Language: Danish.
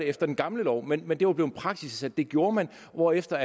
efter den gamle lov men men det var blevet praksis at det gjorde man hvorefter